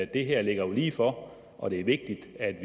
det her ligger jo lige for og det er vigtigt at